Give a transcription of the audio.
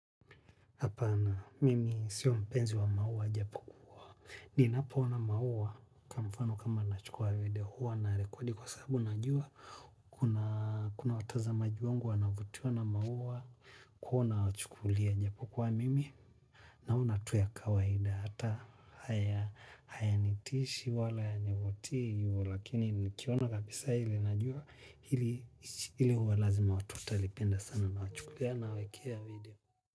Hapana, mimi sio mpenzi wa mauwa japo kuwa. Ni na poona mauwa kwamufano kama na chukua video huwa na rekodi kwa sabu najua. Kuna watazamaji wangu wanavutua na mauwa kuwa na wachukulia japo kuwa mimi. Naona tuya kawaida hata haya hayanitishi wala hayavutii huo lakini nikiona kabisa ili najua hili uwa lazima watu talipenda sana na wachukulia na wekea video.